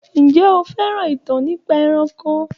Ǹjé o fẹ́ràn ìtàn nípa ẹranko?